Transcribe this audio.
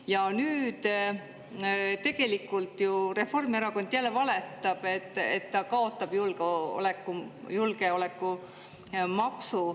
Ja nüüd tegelikult ju Reformierakond jälle valetab, et ta kaotab julgeolekumaksu.